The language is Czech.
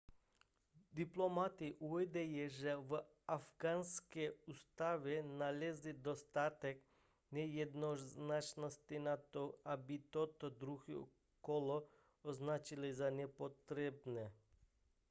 diplomati uvádějí že v afghánské ústavě nalezli dostatek nejednoznačnosti na to aby toto druhé kolo označili za nepotřebné